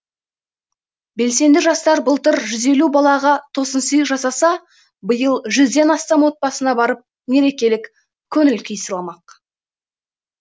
белсенді жастар былтыр жүз елу балаға тосынсый жасаса биыл жүзден астам отбасына барып мерекелік көңіл күй сыйламақ